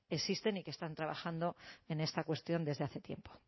existen y que están trabajando en esta cuestión desde hace tiempo